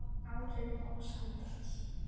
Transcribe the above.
Áhrif og samtal